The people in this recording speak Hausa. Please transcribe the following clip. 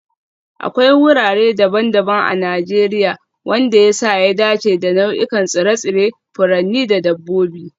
Akwai wurare daban-daban a Najeriya wanda ya sa ya dace da nau'ikan tsire-tsire, furanni da dabbobi